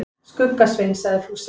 Skugga-Svein, sagði Fúsi.